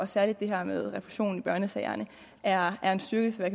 særlig det her med refusion i børnesager er er en styrkelse af